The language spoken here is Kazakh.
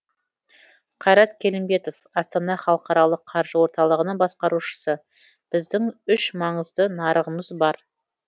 қайрат келімбетов астана халықаралық қаржы орталығының басқарушысы біздің үш маңызды нарығымыз бар